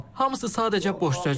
Hamısı sadəcə boş sözdür.